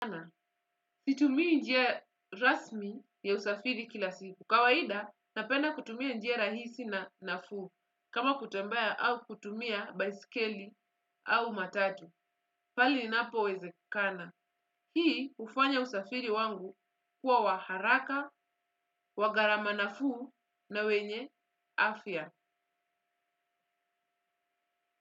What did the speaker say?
Situmi njia rasmi ya usafiri kila siku. Kawaida, napenda kutumia njia rahisi na nafu. Kama kutambea au kutumia baisikeli au matatu. Pale inapo wezekana. Hii hufanya usafiri wangu, kuwa waharaka, wagarama nafu na wenye afya.